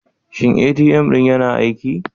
Shin ATM ɗin yana aiki?